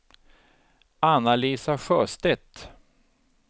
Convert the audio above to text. Anna-Lisa Sjöstedt